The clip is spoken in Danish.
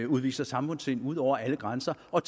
udviser samfundssind ud over alle grænser og